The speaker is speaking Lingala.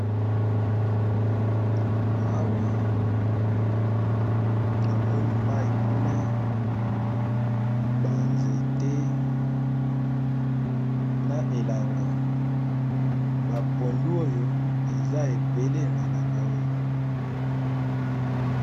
Awa, bazo lakisa biso bilanga ya pondu kasi na mwa mosika muke tozomona zamba ya ba nzete.